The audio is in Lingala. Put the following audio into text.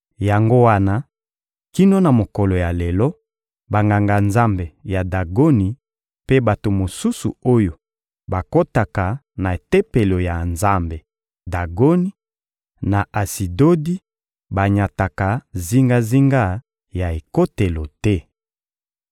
Yango wana, kino na mokolo ya lelo, banganga-nzambe ya Dagoni mpe bato mosusu oyo bakotaka na tempelo ya nzambe Dagoni, na Asidodi, banyataka zingazinga ya ekotelo te.